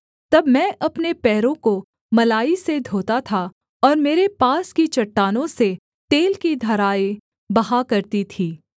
तब मैं अपने पैरों को मलाई से धोता था और मेरे पास की चट्टानों से तेल की धाराएँ बहा करती थीं